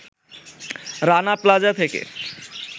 রানা প্লাজা থেকে